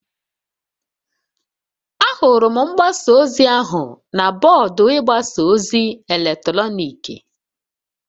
Ahụrụ m mgbasa ozi ahụ na bọọdụ ịgbasa ozi eletrọnịkị